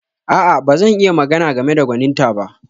A'a, ba zan iya magana game da gwaninta ba.